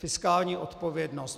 Fiskální odpovědnost.